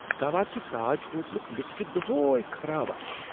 گوا کہ تاج ہوٹلُک لفٹ چھُ دۄہے خراب آسان۔